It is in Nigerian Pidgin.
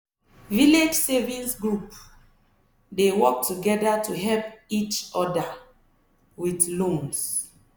village savings groups dey work together to help each other with loans.